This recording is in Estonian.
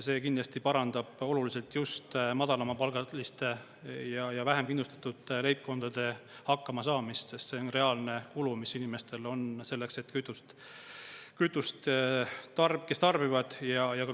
See kindlasti parandab oluliselt just madalamapalgaliste ja vähem kindlustatud leibkondade hakkamasaamist, sest see on reaalne kulu, mis inimestel on selleks, et kütust tarbida.